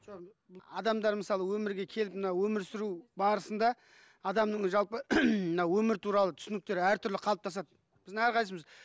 адамдар мысалы өмірге келіп мына өмір сүру барысында адамның жалпы мына өмір туралы түсініктері әртүрлі қалыптасады біздің әрқайсысымыз